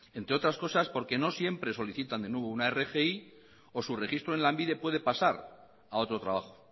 entre otras cosas porque no siempre solicitan de nuevo una rgi o su registro en lanbide puede pasar a otro trabajo